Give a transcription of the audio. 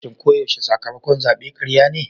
Shin ko yaushe sakamakon zabe karya ne?